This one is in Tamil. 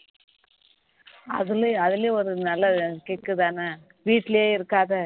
அதுலயும் ஒரு நல்ல கிக்குதானே வீட்டிலேயே இருக்காதே